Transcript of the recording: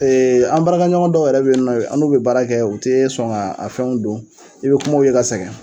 an baarakɛɲɔgɔn dɔw yɛrɛ be yen nɔ ke an n'u be baara kɛ u tee sɔn ŋa a fɛnw don i bɛ kuma u ye ka sɛgɛn.